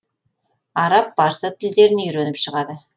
араб парсы тілдерін үйреніп шығады